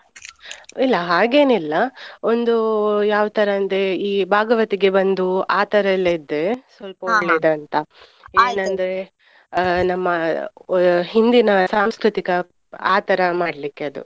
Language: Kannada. ಇಲ್ಲ ಹಾಗೇನಿಲ್ಲಒಂದು ಯಾವ್ತರಾ ಅಂದ್ರೆ ಈ ಭಾಗವತಿಗೆ ಬಂದು ಆ ತರಾಯೆಲ್ಲ ಇದ್ರೆ ಒಳ್ಳೇದ್ ಅಂತ. ನಮ್ಮ ಹಿಂದಿನ ಸಾಂಸ್ಕೃತಿಕ ಆ ತರ ಮಾಡ್ಲಿಕ್ಕೆ ಅದು.